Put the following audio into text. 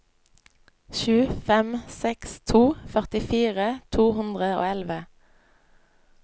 sju fem seks to førtifire to hundre og elleve